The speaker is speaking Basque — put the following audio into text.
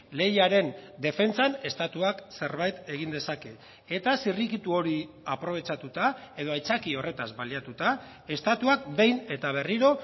lehiaren defentsan estatuak zerbait egin dezake eta zirrikitu hori aprobetxatuta edo aitzakia horretaz baliatuta estatuak behin eta berriro